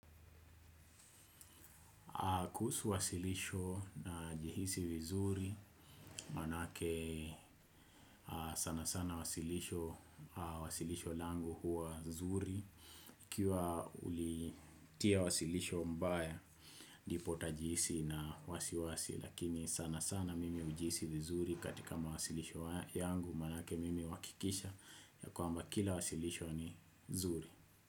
Kuhusu wasilisho najihisi vizuri, manake sana sana wasilisho langu huwa nzuri. Ukiwa ulitia wasilisho mbaya, ndipo utajihisi na wasiwasi, lakini sana sana mimi hujihisi vizuri katika mawasilisho yangu, manake mimi huhakikisha ya kwamba kila wasilisho ni nzuri.